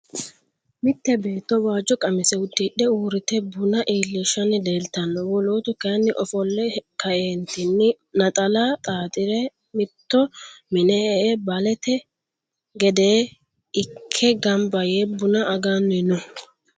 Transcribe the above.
mitte beetto waajo qamise udidhe uurite bunna iilishanni leelitano wolootu kayinni ofolle ka'eennitinni naxala xaaxire mitto minne e'e baalete gedde ikke ganba yee bunna aganni no